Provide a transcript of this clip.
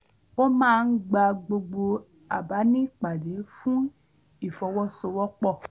ó máa ń gba gbogbo àbá ní ìpàdé fún ìfọwọ́sowọ́pọ̀